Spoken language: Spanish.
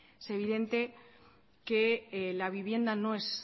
es evidente que la vivienda no es